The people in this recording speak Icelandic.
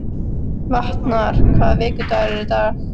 Vatnar, hvaða vikudagur er í dag?